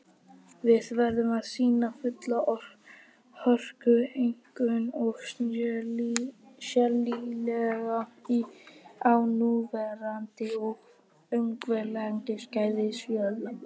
Við verðum að sýna fulla hörku, einkum og sérílagi á núverandi og uggvænlegu skeiði styrjaldarinnar